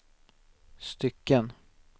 stycken